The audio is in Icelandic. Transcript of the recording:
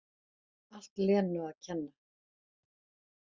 Allt Lenu að kenna!